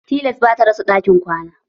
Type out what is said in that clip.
Tilas ba ta rasa ɗakin kwana.